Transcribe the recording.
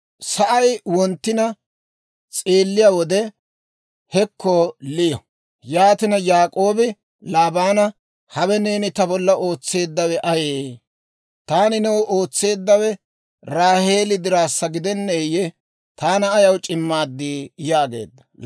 Sa'ay wonttina s'eelliyaa wode, hekko Liyo! Yaatina Yaak'oobi Laabaana, «Hawe neeni ta bolla ootseeddawe ayee? Taani new ootseeddawe Raaheeli dirassa gidenneeyye? Taana ayaw c'immaad?» yaageedda.